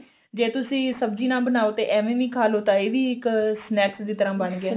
ਜੇ ਤੁਸੀਂ ਸਬਜੀ ਨਾ ਬਣਾਓ ਤਾਂ ਐਵੇਂ ਵੀ ਖਾ ਲਓ ਇਹ ਵੀ ਇੱਕ snack ਦੀ ਤਰ੍ਹਾਂ ਬਣ ਗਏ